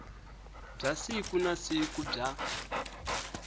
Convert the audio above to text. bya siku na siku bya